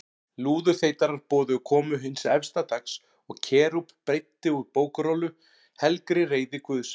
Lúðurþeytarar boðuðu komu hins efsta dags og Kerúb breiddi úr bókrollu, helgri reiði Guðs.